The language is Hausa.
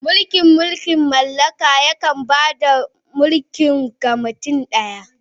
Mulkin mulkin mallaka yakan ba da mulki ga mutum ɗaya.